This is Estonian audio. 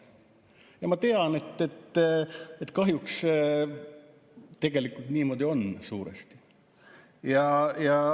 Ja ma tean, et kahjuks tegelikult niimoodi suuresti ongi.